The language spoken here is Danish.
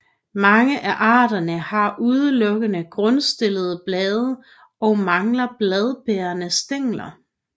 Mange af arterne har udelukkende grundstillede blade og mangler bladbærende stængler